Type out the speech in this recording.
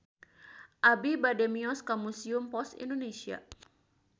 Abi bade mios ka Museum Pos Indonesia